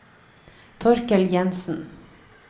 Torkel Jenssen